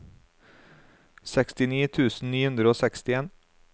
sekstini tusen ni hundre og sekstien